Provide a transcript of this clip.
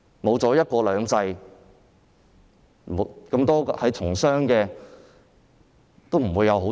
沒有"一國兩制"，商人也不會有好處。